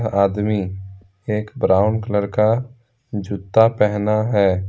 आदमी एक brown colour का जूता पहना है।